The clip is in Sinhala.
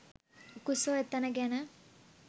උකුස්සෝ එතැන ගැන